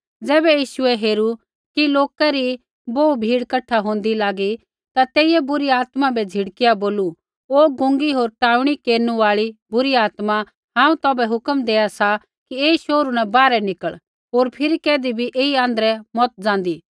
ज़ैबै यीशुऐ हेरू कि लौका री बोहू भीड़ कठा लागी होंदै ता तेइयै बुरी आत्मा बै झिड़किया बोलू ओ गूंगी होर टाऊँणी केरनु आल़ी बुरी आत्मा हांऊँ तौभै हुक्म देआ सा कि ऐई शोहरू न बाहरै निकल़ होर फिरी कैधी भी ऐई आँध्रै मत ज़ाँदी